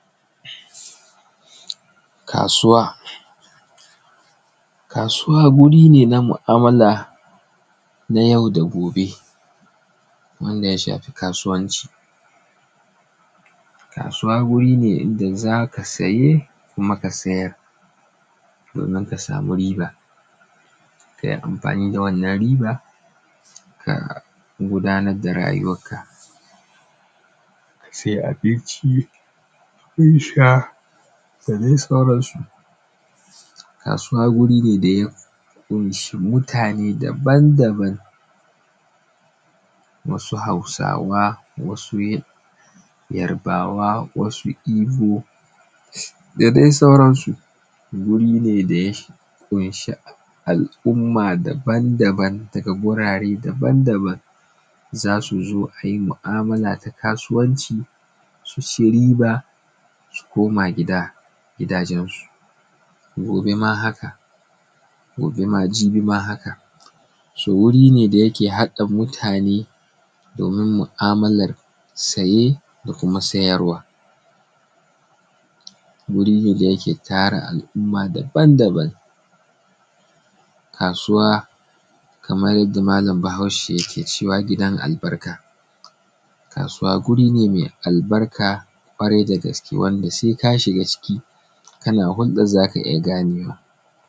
Kasuwa. Kasuwa wuri ne na mu'amula na yau da gobe, wanda ya shafi kasuwanci, kasuwa wuri ne inda za ka siye kuma ka siyar domin ka samu riba ka yi amfani da wannan riba domin ka gudanar da rayuwanka, ka sai abinci dadai sauran su. Kasuwa wuri ne da ya ƙunshi mutane ne daban daban, wasu hausawa wasu yarbawa wasu ibo da dai sauran su. Wuri ne da ya ƙunshi al’umma daban daban daga gurare daban daban za su zo a yi mu'amula ta kasuwanci su ci riba su koma gidajansu, gobe ma haka, jibi ma haka. So wuri ne da yake haɗa mutane domin mu'amular siye da kuma siyarwa, wuri ne da yake tara al’umma daban daban. Kasuwa kamar yanda mallam bahaushe yake cewa gidan albarka, kasuwa wuri ne mai albarka ƙwarai da gaske wanda sai ka shiga ciki kana huldan za ka iya ganewa.